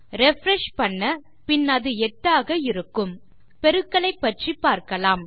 refresh பண்ண பின் அது 8 ஆக இருக்கும் பெருக்கலை பற்றி பார்க்கலாம்